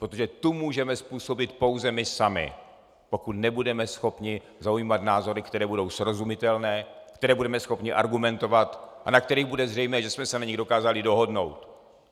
Protože tu můžeme způsobit pouze my sami, pokud nebudeme schopni zaujímat názory, které budou srozumitelné, které budeme schopni argumentovat a na kterých bude zřejmé, že jsme se na nich dokázali dohodnout.